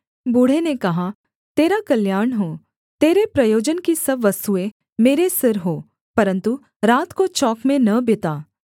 बूढ़े ने कहा तेरा कल्याण हो तेरे प्रयोजन की सब वस्तुएँ मेरे सिर हों परन्तु रात को चौक में न बिता